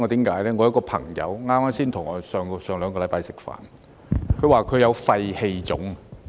有一個朋友上星期才與我吃飯，他說他有肺氣腫。